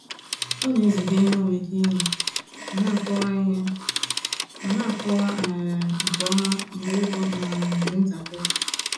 Ọ na-eziga ihe ọ nwere ike inye ma na-akọwa inye ma na-akọwa um nke ọma mgbe ego um dị ntakịrị.